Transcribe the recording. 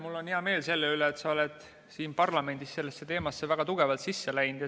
Mul on hea meel selle üle, et sa oled siin parlamendis sellesse teemasse väga sisse läinud.